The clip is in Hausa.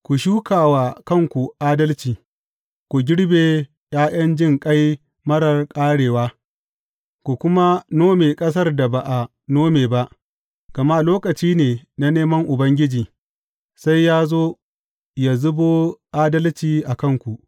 Ku shuka wa kanku adalci, ku girbe ’ya’yan jinƙai marar ƙarewa, ku kuma nome ƙasar da ba a nome ba; gama lokaci ne na neman Ubangiji, sai ya zo ya zubo adalci a kanku.